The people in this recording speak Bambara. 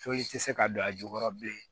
tɛ se ka don a jukɔrɔ bilen